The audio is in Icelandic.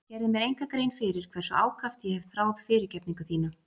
Ég gerði mér enga grein fyrir hversu ákaft ég hef þráð fyrirgefningu þína.